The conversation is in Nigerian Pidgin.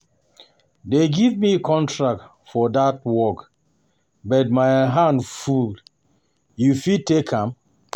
They give me contract for dat work but my hand um full. You go fit take am um?